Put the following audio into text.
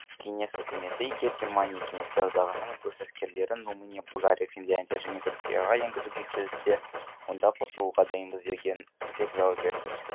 кеңес үкіметі егер германия кеңестер одағының өз әскерлерін румыния болгария финляндия және түркияға енгізуге келіссе онда қосылуға дайынбыз деп жауап берді